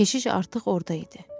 Keşiş artıq orada idi.